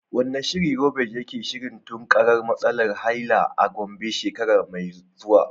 Wane shiri Roqeeb yake shirin tunkarar matsalar haila a Gombe shekara mai zuwa?